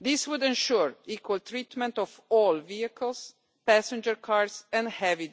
This would ensure equal treatment of all vehicles passenger cars and heavy